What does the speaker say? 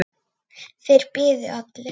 Þeir biðu allir.